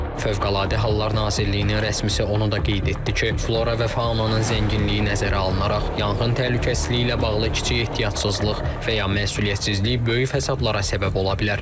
Fövqəladə Hallar Nazirliyinin rəsmisi onu da qeyd etdi ki, flora və faunanın zənginliyi nəzərə alınaraq yanğın təhlükəsizliyi ilə bağlı kiçik ehtiyatsızlıq və ya məsuliyyətsizlik böyük fəsadlara səbəb ola bilər.